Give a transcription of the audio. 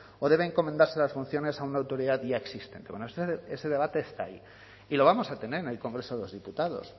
o deben encomendarse las funciones a una autoridad ya existente ese debate está ahí y lo vamos a tener en el congreso de los diputados